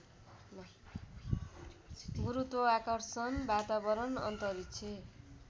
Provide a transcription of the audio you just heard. गुरुत्वाकर्षण वातावरण अन्तरिक्ष